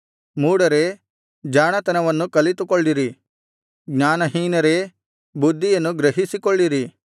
ಮೂಢರೇ ಜಾಣತನವನ್ನು ಕಲಿತುಕೊಳ್ಳಿರಿ ಜ್ಞಾನಹೀನರೇ ಬುದ್ಧಿಯನ್ನು ಗ್ರಹಿಸಿಕೊಳ್ಳಿರಿ